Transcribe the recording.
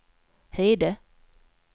Hede